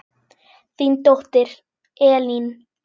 Þín dóttir, Elín.